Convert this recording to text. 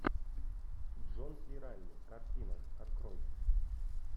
джон си райли картина открой